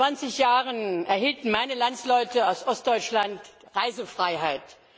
Vor zwanzig Jahren erhielten meine Landsleute aus Ostdeutschland die Reisefreiheit.